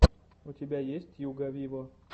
у тебя есть тьюга виво